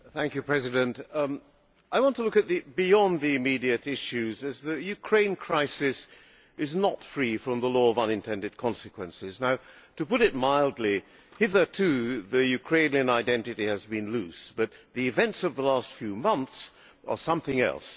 Mr President, I want to look beyond the immediate issues, as the Ukraine crisis is not free from the law of unintended consequences. To put it mildly, hitherto the Ukrainian identity has been loose, but the events of the last few months are something else.